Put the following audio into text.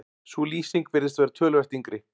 Sú lýsing virðist vera töluvert yngri.